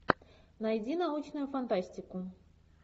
найди научную фантастику